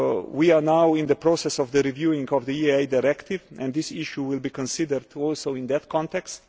to make we are now in the process of the review of the EIA Directive and this issue will be considered also in that